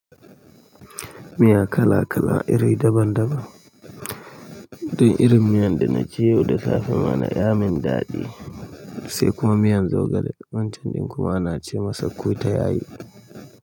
Miya kala-kala, iri daban-daban. Ni irin miyan da na ci yau da safe ma na ya min daɗi. Sai kuma miyan zogale. Wancen ɗin kowa na ce masa ko ta yayi.